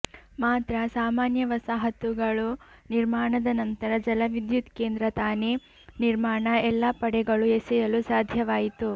ಮಾತ್ರ ಸಾಮಾನ್ಯ ವಸಾಹತುಗಳು ನಿರ್ಮಾಣದ ನಂತರ ಜಲವಿದ್ಯುತ್ ಕೇಂದ್ರ ತಾನೇ ನಿರ್ಮಾಣ ಎಲ್ಲಾ ಪಡೆಗಳು ಎಸೆಯಲು ಸಾಧ್ಯವಾಯಿತು